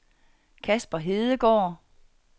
Casper Hedegaard